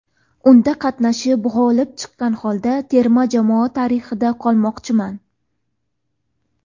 Unda qatnashib, g‘olib chiqqan holda terma jamoa tarixida qolmoqchiman”.